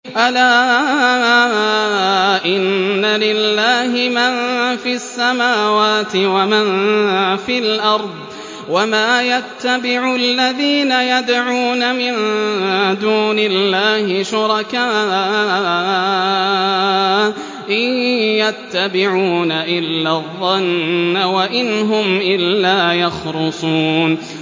أَلَا إِنَّ لِلَّهِ مَن فِي السَّمَاوَاتِ وَمَن فِي الْأَرْضِ ۗ وَمَا يَتَّبِعُ الَّذِينَ يَدْعُونَ مِن دُونِ اللَّهِ شُرَكَاءَ ۚ إِن يَتَّبِعُونَ إِلَّا الظَّنَّ وَإِنْ هُمْ إِلَّا يَخْرُصُونَ